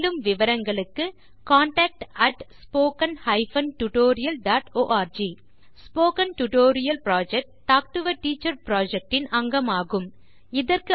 மேலும் விவரங்களுக்கு contactspoken tutorialorg spoken tutorial project talk to a teacher project இன் அங்கமாகும்